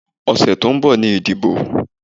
Ọ̀sẹ̀ tó ń bọ̀ ni ìdìbò.